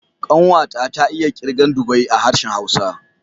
Ƙanwa ta, ta iya kirgan dubai da harshen Hausa.